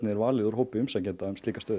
er valið úr hópi umsækjanda um slíka stöðu